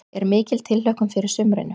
Er mikil tilhlökkun fyrir sumrinu?